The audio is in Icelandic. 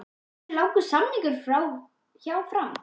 Hversu langur er samningurinn hjá Fram?